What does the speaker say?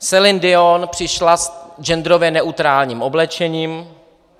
Céline Dion přišla v genderově neutrálním oblečení.